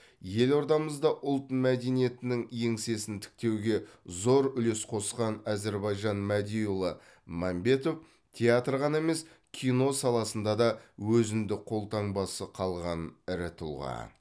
елордамызда ұлт мәдениетінің еңсесін тіктеуге зор үлес қосқан әзірбаижан мәдиұлы мәмбетов театр ғана емес кино саласында да өзіндік қолтаңбасы қалған ірі тұлға